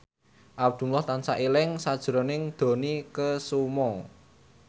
Abdullah tansah eling sakjroning Dony Kesuma